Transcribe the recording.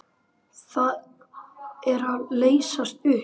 Það er að leysast upp.